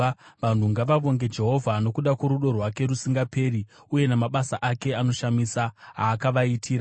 Vanhu ngavavonge Jehovha nokuda kworudo rwake rusingaperi, uye namabasa ake anoshamisa aakavaitira.